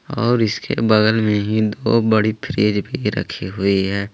और इसके बगल में ही दो बड़ी फ्रिज भी रखी है।